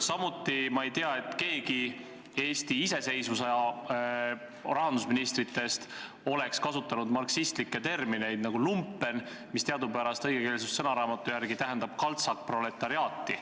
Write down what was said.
Samuti ma ei tea, et keegi Eesti taasiseseisvuse aja rahandusministritest oleks kasutanud sellist marksistlikku terminit nagu "lumpen", mis õigekeelsussõnaraamatu järgi tähendab kaltsakproletariaati.